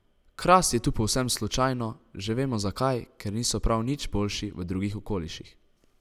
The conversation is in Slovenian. Kras je tu povsem slučajno, že vemo zakaj, ker niso prav nič boljši v drugih okoliših.